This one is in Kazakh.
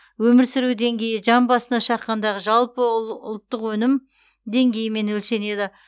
өмір сүру деңгейі жан басына шаққандағы жалпы ұлттық өнім деңгейімен өлшенеді